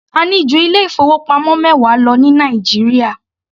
A ní ju ilé ìfowópamọ́ mẹwa lọ ní Nàìjíríà.